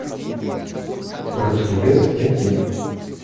русский бес найти